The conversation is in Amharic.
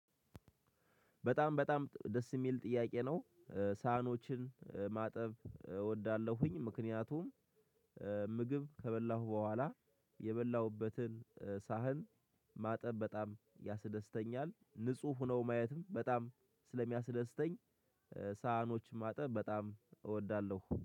በጣም በጣም ደስ የሚል ጥያቄ ነው። ሳህኖችን ማጠብ እወዳለሁኝ ምክንያቱም- ምግብ ከበላሁ በኋላ የበላሁበትን ሳህን ማጠብ በጣም ያስደስተኛል። ንጹህ ሆኖ ማየትም በጣም ስለሚያስደስተኝ- ሳህኖች ማጠብ በጣም እወዳለሁ።